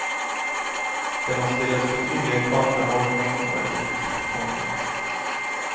Det må stilles betydelige krav til holdning og etikk. punktum